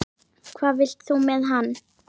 Hvað vilt þú með hann?